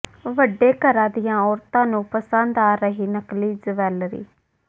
ਵੱਡੇ ਘਰਾਂ ਦੀਆਂ ਔਰਤਾਂ ਨੂੰ ਪਸੰਦ ਆ ਰਹੀ ਨਕਲੀ ਜਵੈਲਰੀ